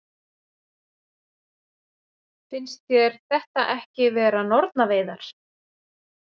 Finnst þér þetta ekki vera nornaveiðar?